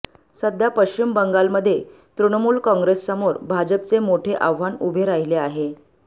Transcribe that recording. सध्या पश्चिम बंगालमध्ये तृणमूल काँग्रेससमोर भाजपचे मोठे आव्हान उभे राहिले आहे